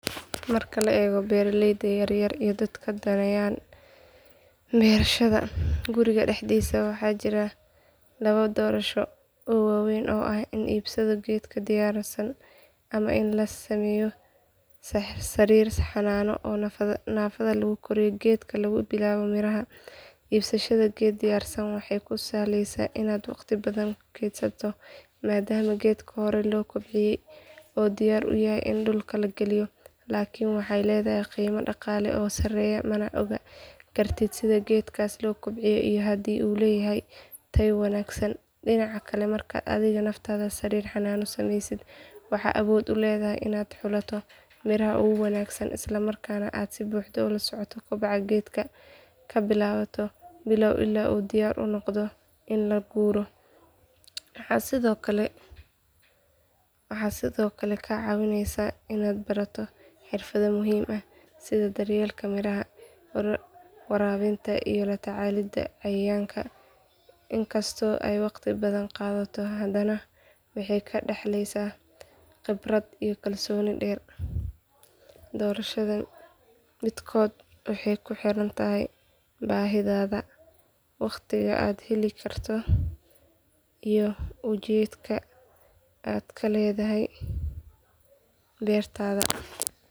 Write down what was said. Marka la eego beeraleyda yar yar iyo dadka danaynaya beerashada guriga dhexdiisa waxaa jira laba doorasho oo waaweyn oo ah in la iibsado geedo diyaarsan ama in la sameeyo sariir xanaano oo naftaada lagu koriyo geedka laga bilaabo miraha. Iibsashada geed diyaarsan waxay kuu sahlaysaa inaad waqti badan keydsato maadaama geedka horey loo kobciyay oo diyaar u yahay in dhulka la geliyo. Laakiin waxay leedahay qiimo dhaqaale oo sareeya mana ogaan kartid sida geedkaas loo kobciyay iyo haddii uu leeyahay tayo wanaagsan. Dhinaca kale markaad adigu naftaada sariir xanaano sameysid waxaad awood u leedahay inaad xulato miraha ugu wanaagsan, isla markaana aad si buuxda ula socoto koboca geedka laga bilaabo bilow ilaa uu diyaar u noqdo in la guuro. Waxay sidoo kale kaa caawinaysaa inaad barato xirfado muhiim ah sida daryeelka miraha, waraabinta iyo la tacaalida cayayaanka. Inkastoo ay waqti badan qaadato hadana waxay kaa dhaxlaysaa khibrad iyo kalsooni dheer. Doorashada midkood waxay ku xiran tahay baahidaada, waqtiga aad heli karto iyo ujeedka aad ka leedahay beertaada.